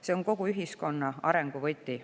See on kogu ühiskonna arengu võti.